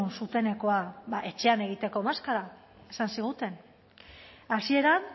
zuzenekoa ba etxean egiteko maskara esan ziguten hasieran